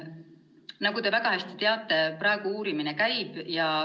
Nagu te väga hästi teate, praegu uurimine käib.